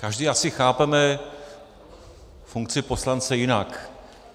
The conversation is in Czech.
Každý asi chápeme funkci poslance jinak.